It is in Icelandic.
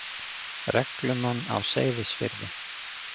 reglumann á Seyðisfirði.